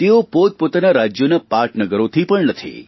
તેઓ પોતપોતાનાં રાજયોની પાટનગરોથી પણ નથી